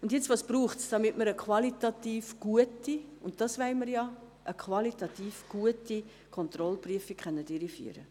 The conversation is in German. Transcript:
Und nun, was braucht es, um eine qualitativ gute Kontrollprüfung – und eine solche wollen wir ja – durchführen zu können?